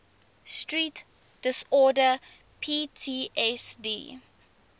stress disorder ptsd